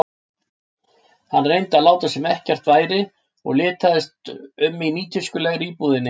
Hann reyndi að láta sem ekkert væri og litaðist um í nýtískulegri íbúðinni.